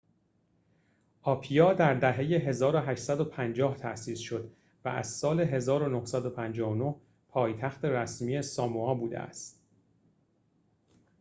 آپیا در دهه ۱۸۵۰ تأسیس شد و از سال ۱۹۵۹ پایتخت رسمی ساموآ بوده است